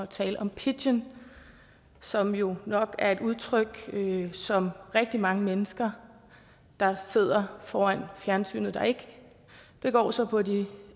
tale om pidgin som jo nok er et udtryk som rigtig mange mennesker der sidder foran fjernsynet der ikke begår sig på de